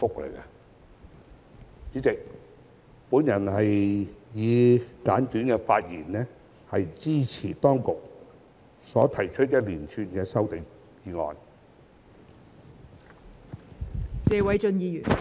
代理主席，我以簡單的發言，支持當局所提出的一連串修正案。